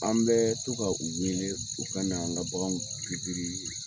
An bɛ to ka u welee, u ka na, an ga bagan pikiri